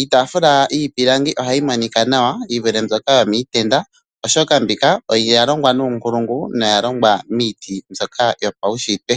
Iitaafula yiipilangi ohayi monika nawa yi vule mbyoka yomiitenda, oshoka mbika oya longwa nuunkulungu noya longwa miiti mbyoka yopaunshitwe.